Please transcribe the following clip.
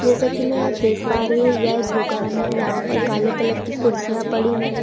जैसा कि मैं यह देख पा रही हूं यह एक दुकान है। यहां पर काले कलर की कुर्सियां पड़ी हुई हैं।